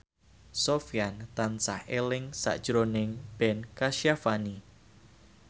Sofyan tansah eling sakjroning Ben Kasyafani